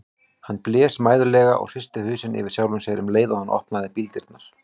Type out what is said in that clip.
Hann blés mæðulega og hristi hausinn yfir sjálfum sér um leið og hann opnaði bíldyrnar.